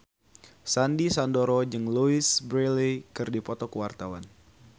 Sandy Sandoro jeung Louise Brealey keur dipoto ku wartawan